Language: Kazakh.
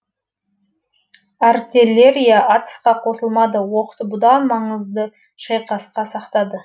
артеллерия атысқа қосылмады оқты бұдан маңызды шайқасқа сақтады